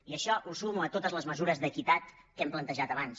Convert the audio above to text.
i això ho sumo a totes les mesures d’equitat que hem plantejat abans